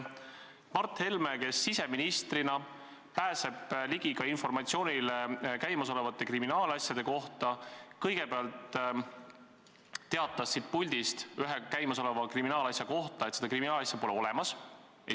Mart Helme, kes siseministrina pääseb ligi ka informatsioonile käimasolevate kriminaalasjade kohta, kõigepealt teatas siit puldist ühe käimasoleva kriminaalasja kohta, et seda kriminaalasja pole olemas.